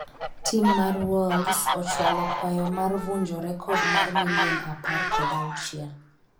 tim mar wolves ochwalo kwayo mar vunjo rekod mar milion apar kod auchiel l